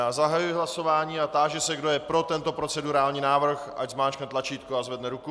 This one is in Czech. Já zahajuji hlasování a táži se, kdo je pro tento procedurální návrh, ať zmáčkne tlačítko a zvedne ruku.